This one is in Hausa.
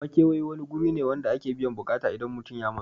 Makewayi wani guri ne wanda ake biyan buƙata idan mutun ya matsu